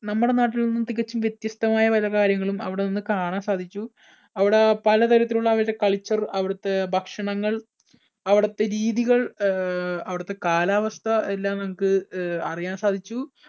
നമ്മുടെ നാട്ടിൽ നിന്ന് തികച്ചുംവ്യത്യസ്തമായ പല കാര്യങ്ങളും അവിടെനിന്ന് കാണാൻ സാധിച്ചു. അവിടെ പലതരത്തിലുള്ള അവിടുത്തേ culture അവിടുത്തെ ഭക്ഷണങ്ങൾ, അവിടുത്തെ രീതികൾ, അഹ് അവിടത്തെ കാലാവസ്ഥ എല്ലാം നമുക്ക് അറിയാൻ സാധിച്ചു.